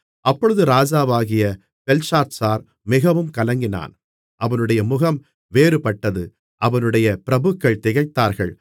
அப்பொழுது ராஜாவாகிய பெல்ஷாத்சார் மிகவும் கலங்கினான் அவனுடைய முகம் வேறுபட்டது அவனுடைய பிரபுக்கள் திகைத்தார்கள்